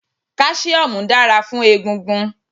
Kálísíómù dára fún egungun